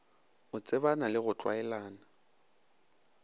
o tsebana le go tlwaelana